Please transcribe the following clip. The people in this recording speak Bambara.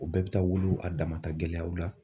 U bɛɛ bɛ taa wolo a dama gɛlɛyaw la.